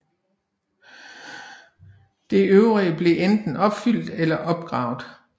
Det øvrige blev enten opfyldt eller opgravet